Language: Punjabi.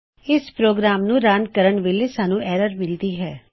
ਇਸ ਪ੍ਰੋਗਰਾਨ ਨੂੰ ਰਨ ਕਰਣ ਵੇਲੇ ਸਾਨੂੰ ਐਰਰ ਮਿਲਦੀ ਹੈ